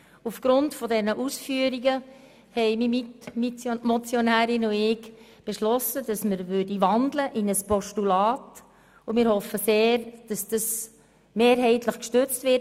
Aufgrund dieser Ausführungen haben ich und meine Mitmotionärin die Wandlung in ein Postulat beschlossen und wir hoffen sehr, dass ein Postulat mehrheitlich gestützt wird.